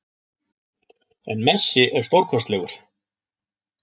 En Messi er stórkostlegur